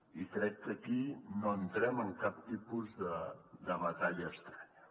i crec que aquí no entrem en cap tipus de batalla estranya